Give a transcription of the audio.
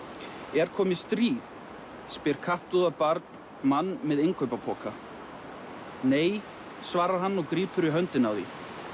er komið stríð spyr barn mann með innkaupapoka nei svarar hann og grípur í höndina á því